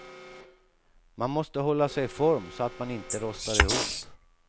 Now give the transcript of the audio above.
Man måste hålla sig i form så att man inte rostar ihop.